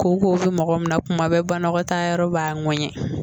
Koko bɛ mɔgɔ min na kuma bɛɛ banakɔtaayɔrɔ b'a ŋɛɲɛ